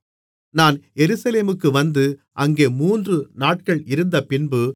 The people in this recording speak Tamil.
நான் எருசலேமுக்கு வந்து அங்கே மூன்றுநாட்கள் இருந்தபின்பு